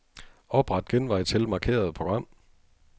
Opret genvej til markerede program.